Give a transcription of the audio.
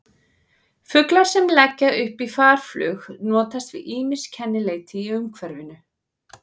Fuglar sem leggja upp í farflug notast við ýmis kennileiti í umhverfinu.